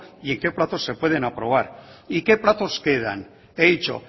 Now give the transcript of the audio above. y en qué plazo se pueden aprobar y que plazos quedan he dicho